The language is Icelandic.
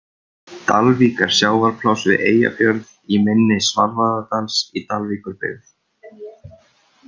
Dalvík er sjávarpláss við Eyjafjörð, í mynni Svarfaðardals í Dalvíkurbyggð.